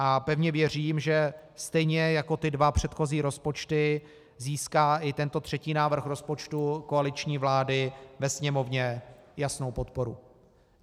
A pevně věřím, že stejně jako ty dva předchozí rozpočty získá i tento třetí návrh rozpočtu koaliční vlády ve Sněmovně jasnou podporu.